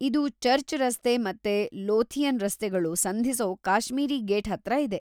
ಇದು ಚರ್ಚ್ ರಸ್ತೆ ಮತ್ತೆ ಲೋಥಿಯನ್ ರಸ್ತೆಗಳು ಸಂಧಿಸೋ ಕಾಶ್ಮೀರಿ ಗೇಟ್ ಹತ್ರ ಇದೆ.